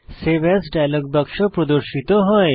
save as dialog বাক্স প্রদর্শিত হয়